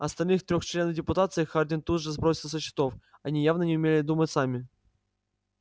остальных трёх членов депутации хардин тут же сбросил со счетов они явно не умели думать сами